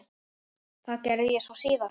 Það gerði ég svo síðar.